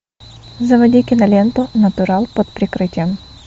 заводи киноленту натурал под прикрытием